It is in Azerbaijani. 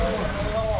Oldu, oldu.